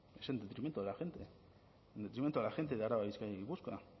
es en detrimento de la gente en detrimento de la gente de araba bizkaia y gipuzkoa